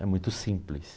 É muito simples.